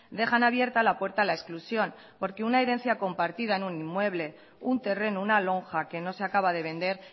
dejan abierta la puerta a la exclusión porque una herencia compartida en un inmueble un terreno una lonja que no se acaba de vender